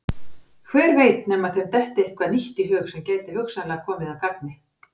Hver veit nema þeim detti eitthvað nýtt í hug sem gæti hugsanlega komið að gagni.